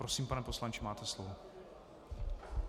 Prosím, pane poslanče, máte slovo.